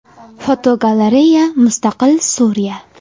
Fotogalereya: Mustaqil Suriya.